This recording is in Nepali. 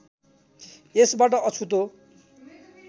यसबाट अछुतो